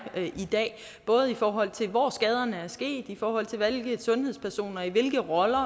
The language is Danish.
i dag både i forhold til hvor skaderne er sket i forhold til hvilke sundhedspersoner i hvilke roller